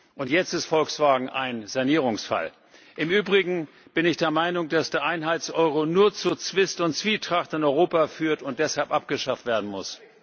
Und jetzt ist Volkswagen ein Sanierungsfall. Im Übrigen bin ich der Meinung, dass der Einheits Euro nur zu Zwist und Zwietracht in Europa führt und deshalb abgeschafft werden muss.